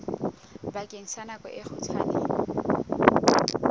bakeng sa nako e kgutshwane